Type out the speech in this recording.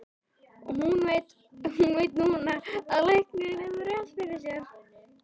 Og hún veit núna að læknirinn hefur rétt fyrir sér.